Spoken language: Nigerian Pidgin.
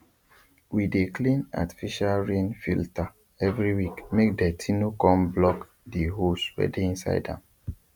we dey clean artificial rain filter eveyweekmake dirty no con block th holes wey inside am